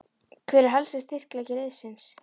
Hver er helsti styrkleiki liðsins?